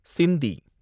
சிந்தி